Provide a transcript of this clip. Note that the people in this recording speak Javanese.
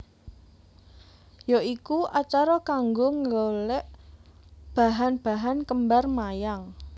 Ya iku acara kanggo nggolek bahan bahan kembar mayang